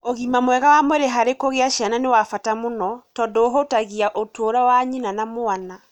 Ũgima mwega wa mwĩrĩ harĩ kũgĩa ciana nĩ wa bata mũno tondũ ũhutagia ũtũũro wa nyina na wa mwana.